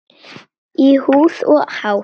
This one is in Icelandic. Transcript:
Í húð og hár.